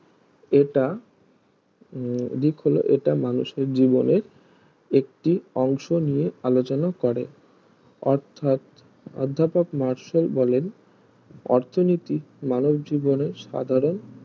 এটা উম হলো দিক হলো এটা মানুষের জীবনে একটি অংশনিয়ে আলোচনা করে অর্থাৎ অর্ধাপক মার্শাল বলেন অর্থনীতিক মানব জীবনে সাধারণ